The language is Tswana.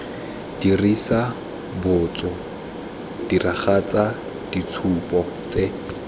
dirisa botso diragatsa ditshupo tse